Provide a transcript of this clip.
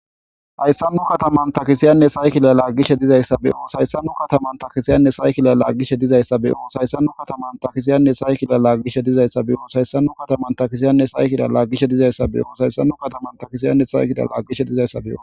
Hayssamnu kataman takisiyanne saykila laaggishe dizayssa beyo shayssamnu kataman takisiyanne saykilalaaggishe dizayssa beyo shayssamnu kataman takisiyanne saykila laaggishe dizayssa beyo hayssamnu kataman takisiyanne saykida laaggishe dizayssa beyo shayssanu kataman takisiyanne saykidalaaggishe dizayssa be'o.